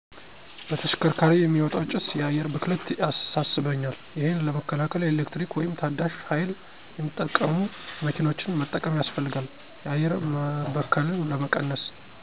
በተሽከርካሪ የሚወጣው ጭሰ የአየር ብክለት ያሳሰበኛል። ይሄን ለመከላከል የኤሌክትሪክ ወይም ታዳሸ ሀይል የሚጠቀሙ መኪኖችን መጠቀም ያሰፈልጋል የአየር መበከልን ለመቀነሰ።